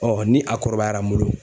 ni a kɔrɔbayara n bolo